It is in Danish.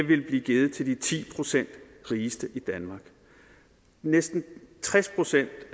ville blive givet til de ti procent rigeste i danmark næsten tres procent